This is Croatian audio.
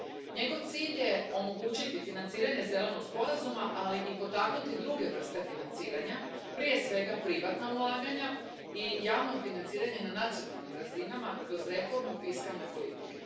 Njegov cilj je omogućiti financiranje Zelenog sporazuma, ali i potaknuti druge vrste financiranja, prije svega privatna ulaganja i javno financiranje na nacionalnim razinama kroz reformu fiskalne politike.